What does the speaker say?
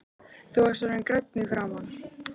Þú varst orðinn grænn í framan.